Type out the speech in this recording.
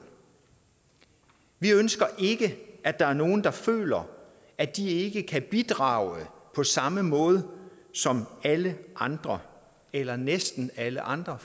vi ønsker ikke at der er nogle der føler at de ikke kan bidrage på samme måde som alle andre eller næsten alle andre